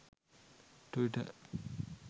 twitter